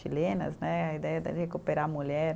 Chilenas né, a ideia de recuperar a mulher.